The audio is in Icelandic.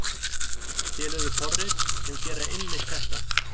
Til eru forrit sem gera einmitt þetta.